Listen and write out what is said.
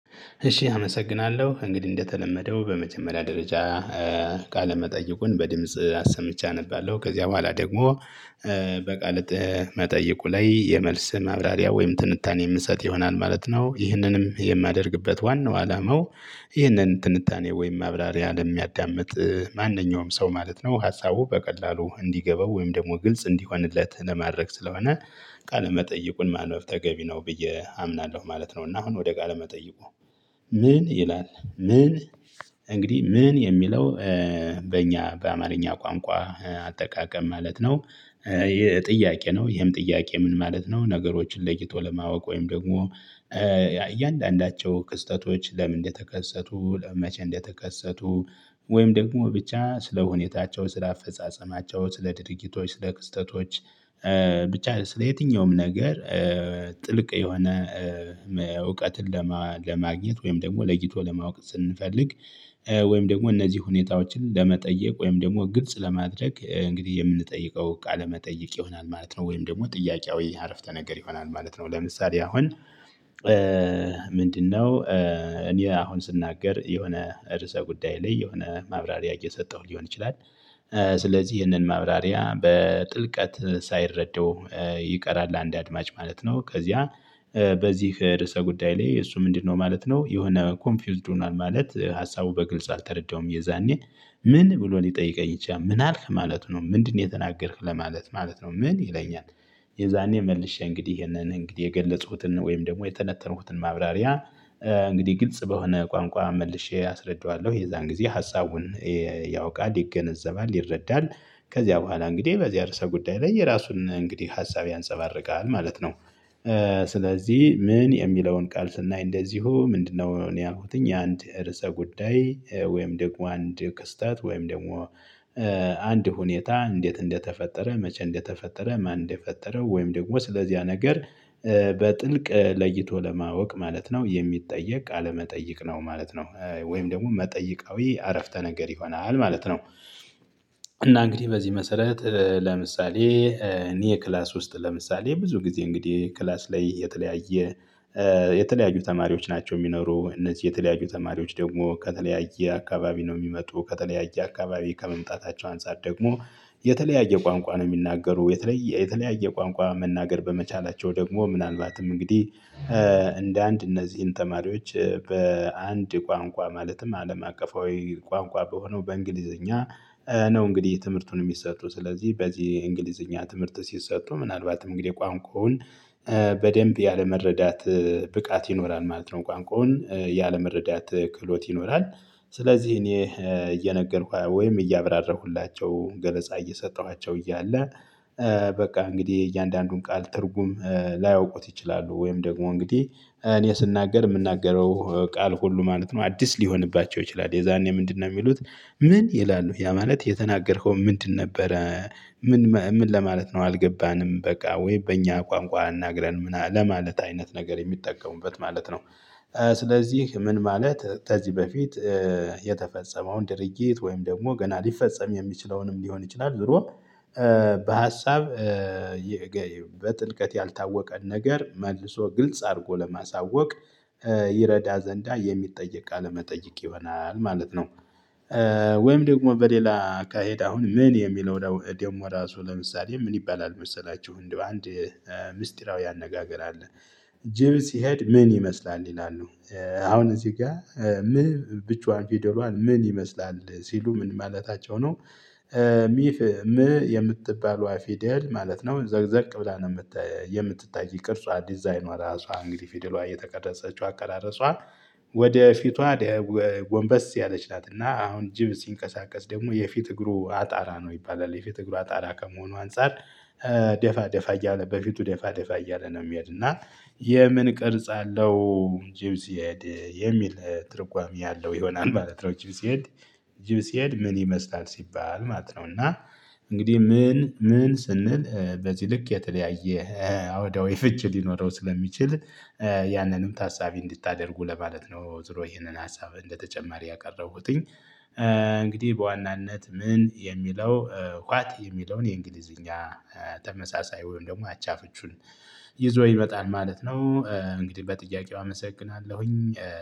እሺ አመሰግናለሁ እንግዲህ እንደተለመደው በመጀመሪያ ደረጃ ቃለ መጠይቁን በድምጽ አሰምቼ አነባለሁ ከዚያ በኋላ ደግሞ በቃል መጠየቁ ላይ የመልስ መብራሪያ ወይም ትንታኔ የምንሰጥ ይሆናል ማለት ነው። ይህንንም የማደርግበት ዋናው አላማው ይህንን ትንታኔ ወይም ማብራሪያ ለሚያዳምጥ ማንኛውም ሰው ማለት ነው። ሀሳቡ በቀላሉ እንዲገባው ወይም ደግሞ ግልጽ እንዲሆንለት ለማድረግ ስለሆነ። ቃለ መጠይቁን ማንበብ ተገቢ ነው ብዬ አምናለሁ ማለት ነው። እና አሁን ወደ ቃለ ለመጠየቁ ምን ይላል? ምን እንግዲህ ምን የሚለው? በእኛ በአማርኛ ቋንቋ አጠቃቀም ማለት ነው። ይሄ ጥያቄ ነው ይሄም ጥያቄ ምን ማለት ነው? ነገሮችን ለይቶ ለማወቅ ወይም ደግሞ እያንዳንዳቸው ክስተቶች ለምን እንደተከሰቱ ለመቼ እንደተከሰቱ ወይም ደግሞ ብቻ ስለሁኔታቸው ስለአፈጻጸማቸው ስለድርጊቶች ክስተቶች። ብቻ ስለ የትኛውም ነገር። ጥልቅ የሆነ እውቀትን ለማግኘት ወይም ደግሞ ለይቶ ለማወቅ ስንፈልግ። ወይም ደግሞ እነዚህ ሁኔታዎችን ለመጠየቅ ወይም ደግሞ ግልጽ ለማድረግ እንግዲህ የምንጠይቀው ቃለመጠይቅ ይሆናል ማለት ነው። ወይም ደግሞ ጥያቄያዊ አረፍተ ነገር ይሆናል ማለት ነው። ለምሳሌ አሁን ምንድነው? እኔ አሁን ስናገር የሆነ ርዕሰ ጉዳይ ላይ የሆነ ማብራሪያ እየሰጠሁ ሊሆን ይችላል። ስለዚህ ይህንን ማብራሪያ በጥልቀት ሳይረዳው ይቀራል አንድ አድማጭ ማለት ነው። ከዚያ በዚህ ርዕሰ ጉዳይ ላይ እሱ ምንድነው ማለት ነው። የሆነ ኮንፊውዝድ ሆኗል ማለት ሀሳቡ በግልጽ አልተረዳውም እየዛኔ ምን ብሎን ሊጠይቀኝ ይችላል? ምን አልህ ማለቱ ነው ምንድን ነው የተናገርህ ለማለት ማለት ነው። ምን ይለኛል? የዛኔ መልሼ እንግዲህ ይሄንን እንግዲህ የገለፅሁትን ወይም ደግሞ የተነተንሁትን ማብራሪያ እንግዲህ ግልጽ በሆነ ቋንቋ መልሼ አስረዳዋለሁ። የዛን ጊዜ ሀሳቡን ያውቃል ይገነዘባል ይረዳል። ከዚያ በኋላ እንግዲህ በዚህ አርሰ ጉዳይ ላይ የራሱን እንግዲህ ሀሳብ ያንፀባርቃል ማለት ነው። ስለዚህ ምን የሚለውን ቃል ስናይ እንደዚሁ ምንድን ነው እኔ ያልኩትኝ የአንድ እርስ ጉዳይ ወይም ደግሞ አንድ ክስተት ወይም ደግሞ አንድ ሁኔታ እንዴት እንደተፈጠረ መቼ እንደተፈጠረ ማን እንደፈጠረው ወይም ደግሞ ስለዚህያ ነገር። በጥልቅ ለይቶ ለማወቅ ማለት ነው የሚጠየቅ ቃለ መጠይቅ ነው ማለት ነው። ወይም ደግሞ መጠይቃዊ አረፍተ ነገር ይሆናል ማለት ነው። እና እንግዲህ በዚህ መሰረት ለምሳሌ እኔ ክላስ ውስጥ ለምሳሌ ብዙ ጊዜ እንግዲህ ክላስ ላይ የተለያየ የተለያዩ ተማሪዎች ናቸው የሚኖሩ እነዚህ የተለያዩ ተማሪዎች ደግሞ ከተለያየ አካባቢ ነው የሚመጡ ከተለያየ አካባቢ ከመምጣታቸው አንፃር ደግሞ የተለያየ ቋንቋ ነው የሚናገሩ የተለያየ ቋንቋ መናገር በመቻላቸው ደግሞ ምናልባትም እንግዲህ እንደ አንድ እነዚህን ተማሪዎች በአንድ ቋንቋ ማለትም አለም አቀፋዊ ቋንቋ በሆነው በእንግሊዘኛ ነው እንግዲህ ትምህርቱን የሚሰጡ ስለዚህ በዚህ እንግሊዘኛ ትምህርት ሲሰጡ ምናልባትም እንግዲህ ቋንቋውን በደንብ ያለመረዳት ብቃት ይኖራል ማለት ነው። ቋንቋውን ያለመረዳት ክህሎት ይኖራል። ስለዚህ እኔ እየነገርኩ ወይም እያበራረኩላቸው ገለጻ እየሰጠኋቸው እያለ በቃ እንግዲህ እያንዳንዱን ቃል ትርጉም ላያውቁት ይችላሉ። ወይም ደግሞ እንግዲህ እኔ ስናገር የምናገረው ቃል ሁሉ ማለት ነው አዲስ ሊሆንባቸው ይችላል የዛኔ ምንድነው የሚሉት? ምን ይላሉ ያ ማለት የተናገርከው ምንድን ነበረ? ምን ምን ለማለት ነው አልገባንም በቃ ወይ በእኛ ቋንቋ እናግረን ምናምን ለማለት አይነት ነገር የሚጠቀሙበት ማለት ነው። ስለዚህ ምን ማለት ከዚህ በፊት የተፈጸመውን ድርጊት ወይም ደግሞ ገና ሊፈጸም የሚችለውንም ሊሆን ይችላል ዙሮ በሀሳብ በጥልቀት ያልታወቀ ነገር መልሶ ግልጽ አድርጎ ለማሳወቅ ይረዳ ዘንዳ የሚጠየቅ ቃለ መጠይቅ ይሆናል ማለት ነው። ወይም ደግሞ በሌላ አካሄድ አሁን ምን የሚለው ደግሞ ራሱ ለምሳሌ ምን ይባላል? መሰላችሁ እንደው አንድ ምስጢራዊ አነጋገር አለ። ጅብ ሲሄድ ምን ይመስላል? እንዲህ ነው። አሁን እዚህ ጋር ምን ብቻዋን ፊደሏን ምን ይመስላል ሲሉ ምን ማለታቸው ነው? ሚፍ ም የምትባለው አፌደል ማለት ነው። ዘግዘግ ብላ ነው የምትታይ የምትታይ ቅርጿ ዲዛይኗ ራሷ እንግዲህ ፊደሏ እየተቀረጸችው አቀራረጿ። ወደ ፊቷ ግንበስ ያለች ናት። እና አሁን ጅብ ሲንቀሳቀስ ደግሞ የፊት እግሩ አጣራ ነው ይባላል። የፊት እግሩ አጣራ ከመሆኑ አንፃር ደፋ ደፋ እያለ በፊቱ ደፋ ደፋ እያለ ነው የሚሄድ እና። የምን ቅርጽ አለው? ጂብ ሲሄድ የሚል ትርጓሜ አለው ይሆናል ማለት ነው። ጂብ ሲሄድ ጅብ ሲሄድ ምን ይመስላል ሲባል ማለት ነው። እና እንግዲህ ምን ምን ስንል በዚህ ልክ የተለያየ አውዳዊ ፍች ሊኖረው ስለሚችል ያንንም ታሳቢ እንድታደርጉ ለማለት ነው። ዙሮ ይሄንን ሀሳብ እንደተጨማሪ ያቀረቡትኝ። እንግዲህ በዋናነት ምን የሚለው ኋት የሚለውን የእንግሊዝኛ ተመሳሳይ ወይም ደግሞ አቻ ፍቹን ይዞ ይመጣል ማለት ነው። እንግዲህ በጥያቄው አመሰግናለሁኝ